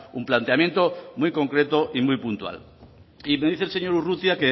un planteamiento muy concreto y muy puntual y me dice el señor urrutia